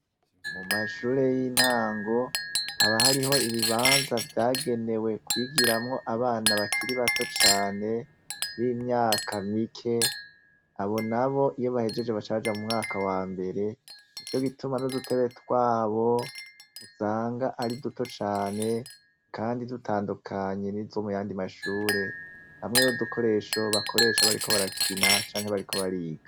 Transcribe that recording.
Mumashure yintango haba hariho ibibanza vyagenewe kwigiramwo abana bakiri bato cane n'imyaka mike abo nabo iyo bahejeje baca baja mumwaka wambere nico gituma nudutebe twabo usanga ari duto cane kandi dutandukanye n'izindi zomuyandi mashure hamwe n'udukoresho bakoresho bakoresha bariko barakina canke bariko bariga .